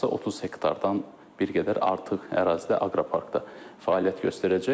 Hardasa 30 hektardan bir qədər artıq ərazidə Aqroparkda fəaliyyət göstərəcək.